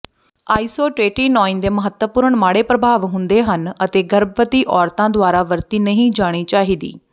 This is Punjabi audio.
ਆਈਸੋਟਰੇਟੀਨੋਇਨ ਦੇ ਮਹੱਤਵਪੂਰਣ ਮਾੜੇ ਪ੍ਰਭਾਵ ਹੁੰਦੇ ਹਨ ਅਤੇ ਗਰਭਵਤੀ ਔਰਤਾਂ ਦੁਆਰਾ ਵਰਤੀ ਨਹੀਂ ਜਾਣੀ ਚਾਹੀਦੀ